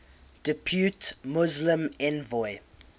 depute muslim envoy